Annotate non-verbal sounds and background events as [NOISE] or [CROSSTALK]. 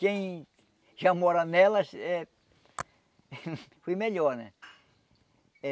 Quem já mora nelas, é... [LAUGHS] Foi melhor, né? Eh